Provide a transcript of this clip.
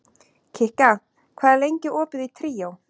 Kikka, hvað er lengi opið í Tríó?